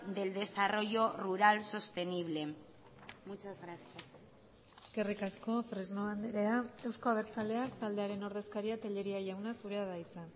del desarrollo rural sostenible muchas gracias eskerrik asko fresno andrea euzko abertzaleak taldearen ordezkaria tellería jauna zurea da hitza